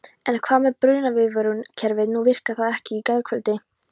En hvað með brunaviðvörunarkerfið, nú virkaði það ekki í gærkvöldi?